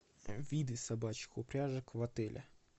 виды собачьих упряжек в отеле